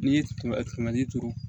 N'i ye kɛmɛ kɛmɛ ni turu